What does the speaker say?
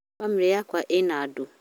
Bamĩrĩ yakwa ĩna andũ